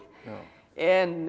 en